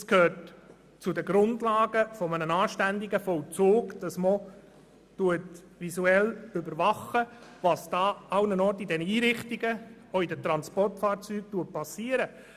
Es gehört zu den Grundlagen eines anständigen Vollzugs, dass visuell überwacht wird, was in allen Einrichtungen, auch in den Transportfahrzeugen, geschieht.